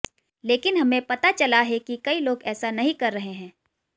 लेकिन हमें पता चला है कि कई लोग ऐसा नहीं कर रहे हैं